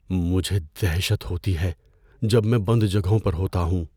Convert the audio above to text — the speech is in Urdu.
مجھے دہشت ہوتی ہے جب میں بند جگہوں پر ہوتا ہوں۔